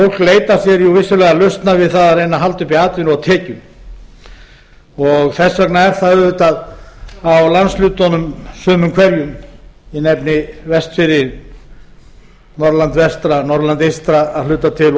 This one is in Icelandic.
leitar sér vissulega lausna við það að reyna að halda uppi atvinnu og tekjum þess vegna er það auðvitað á landshlutunum sumum hverjum ég nefni vestfirði norðurland vestra norðurland eystra að hluta til og svo